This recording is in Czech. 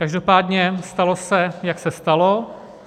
Každopádně stalo se, jak se stalo.